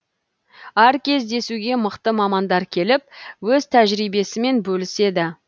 әр кездесуге мықты мамандар келіп өз тәжірибесімен бөліседі